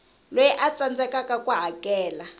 loyi a tsandzekaku ku hakela